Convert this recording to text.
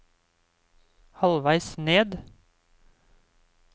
halvveis ned